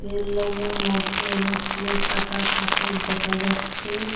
রেললাইনের মধ্যে অনেকগুলো কাটা পাথর দেখা যাচ্ছে।